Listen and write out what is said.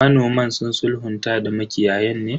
Manoman sun sulhunta da makiyayan ne?